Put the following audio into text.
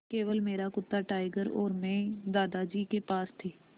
केवल मेरा कुत्ता टाइगर और मैं दादाजी के पास थे